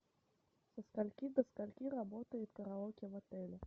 со скольки до скольки работает караоке в отеле